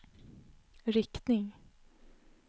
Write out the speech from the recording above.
riktning